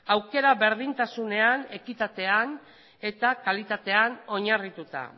aukera berdintasunean ekitatean eta kalitatean oinarrituta